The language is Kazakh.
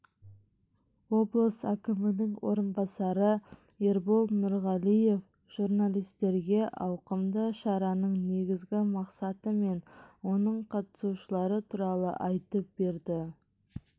облыс әкімінің орынбасары ербол нұрғалиев журналистерге ауқымды шараның негізгі мақсаты мен оның қатысушылары туралы айтып берді